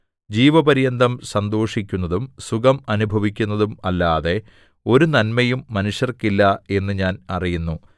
ജീവപര്യന്തം സന്തോഷിക്കുന്നതും സുഖം അനുഭവിക്കുന്നതും അല്ലാതെ ഒരു നന്മയും മനുഷ്യർക്കില്ല എന്നു ഞാൻ അറിയുന്നു